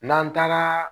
N'an taara